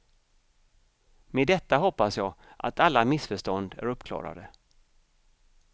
Med detta hoppas jag att alla missförstånd är uppklarade.